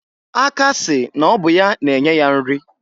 Aka sị ọnụ n'ọ bụ ya na-enye ya nri.